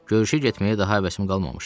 Görüşə getməyə daha həvəsim qalmamışdı.